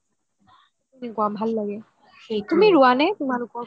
তেনেকুৱা ভাল লাগে তুমি ৰুৱা নে তুমালোক